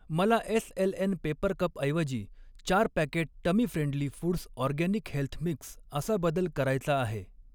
मला SLN paper कपऐवजी चार packet tummy friendly foods organic health mix असा बदल करायचा आहे.